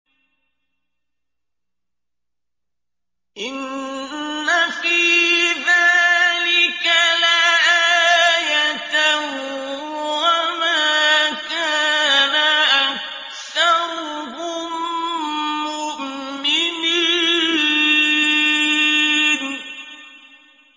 إِنَّ فِي ذَٰلِكَ لَآيَةً ۖ وَمَا كَانَ أَكْثَرُهُم مُّؤْمِنِينَ